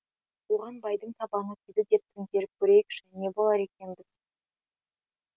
оған байдың табаны тиді деп төңкеріп көрейікші не болар екенбіз